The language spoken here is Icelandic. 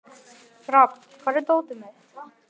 Rafn, hvar er dótið mitt?